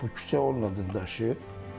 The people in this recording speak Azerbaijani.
Bu küçə onun adını daşıyır.